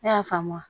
Ne y'a faamu